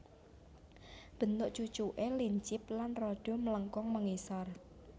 Bentuk cucuké lincip lan rada mlengkung mengisor